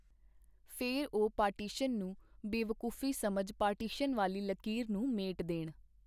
ਫੇਰ ਉਹ ਪਾਰਟੀਸ਼ਨ ਨੂੰ ਬੇਵਕੂਫੀ ਸਮਝ ਪਾਰਟੀਸ਼ਨ ਵਾਲੀ ਲਕੀਰ ਨੂੰ ਮੇਟ ਦੇਣ.